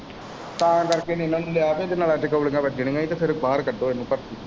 ਤਾਂ ਕਰਕੇ ਇਹਨੂੰ ਨਹੀਂ ਲਿਆ ਕਿ ਇਹਦੇ ਨਲਾਂ ਚ ਗੋਲੀਆਂ ਵਜਨੀਆਂ ਈ ਤੇ ਫੇਰ ਬਾਹਰ ਕੱਢੋ ਇਹਨੂੰ ਭਰਤੀ।